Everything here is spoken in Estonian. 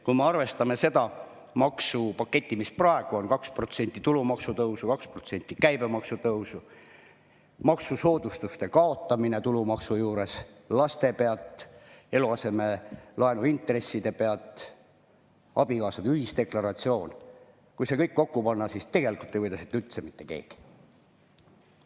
Kui me arvestame seda maksupaketti, mis praegu on – 2% võrra tulumaksu tõusu, 2% võrra käibemaksu tõusu, maksusoodustuste kaotamine tulumaksu puhul, laste pealt, eluaseme laenuintresside pealt, abikaasade ühisdeklaratsiooni –, kui see kõik kokku panna, siis tegelikult ei võida siit mitte keegi.